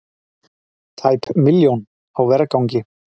Tæp milljón á vergangi